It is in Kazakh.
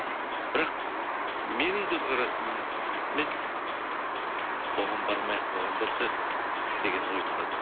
бірақ менің көзқарасыммен оған бармай ақ қойған дұрыс еді деген ой тұрады